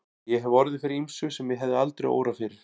Ég hef orðið fyrir ýmsu sem mig hefði aldrei órað fyrir.